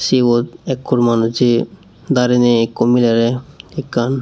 sibot ekkur manujey dareyney ekko milerey ekkan.